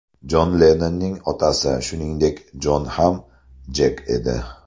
Jon Lennonning otasi, shuningdek, Jon ham Jek edi.